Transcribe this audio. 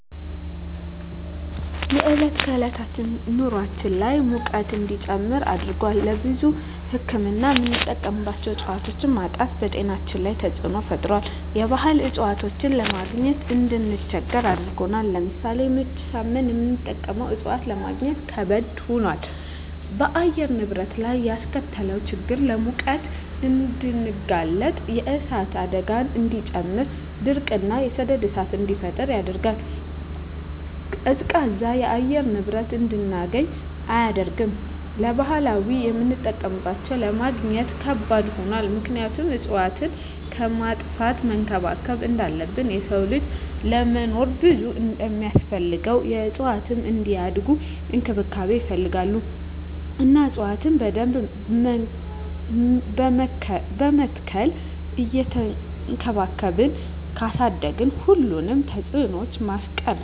የዕለት ከዕለት ኑራችን ላይ ሙቀት እንዲጨምር አድርጎታል። ለብዙ ህክምና የምንጠቀማቸው እፅዋቶች ማጣት በጤናችን ላይ ተፅዕኖ ፈጥሯል የባህል እፅዋቶችን ለማግኘት እንድንቸገር አድርጎናል። ለምሳሌ ምች ሳመን የምንጠቀመው እፅዋት ለማግኘት ከበድ ሆኗል። በአየር ንብረት ላይ ያስከተለው ችግር ለሙቀት እንድንጋለጥ የእሳት አደጋን እንዲጨምር ድርቅ እና የሰደድ እሳትን እንዲፈጠር ያደርጋል። ቀዝቃዛ የአየር ንብረት እንድናገኝ አያደርግም። ለባህላዊ የምጠቀምባቸው ለማግኘት ከባድ ሆኗል ምክንያቱም እፅዋትን ከማጥፋት መንከባከብ እንዳለብን የሰው ልጅ ለመኖር ብዙ እንደማስፈልገው እፅዋትም እንዲያድጉ እንክብካቤ ይፈልጋሉ እና እፅዋቶችን በደንብ በመትከል እየቸንከባከብን ካሳደግን ሁሉንም ተፅዕኖ ማስቀረት እንችላለን።